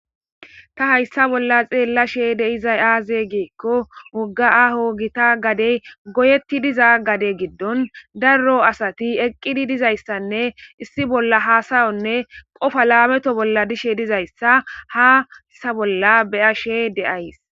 ta hayssa bolla xeella she de izay aaze geekko wogga aho gita gadey goyetti diza gade giddon darro asati eqqidi dizayssanne issi bolla haasayonne qofa laameto bolla dishe dizayssa haasa bolla beya she de7ays